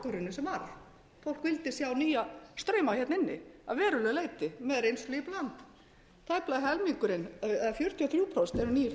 sem varð fólk vildi sjá nýja strauma hér inni að verulegu leyti með reynslu í bland tæplega helmingurinn eða fjörutíu og þrjú prósent eru nýir þingmenn í